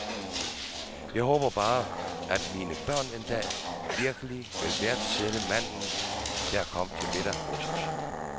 Jeg håber bare, at mine børn en dag virkelig vil værdsætte manden, der kom til middag hos os.